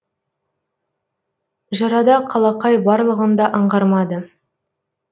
жырада қалақай барлығын да аңғармады